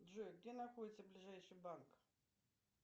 джой где находится ближайший банк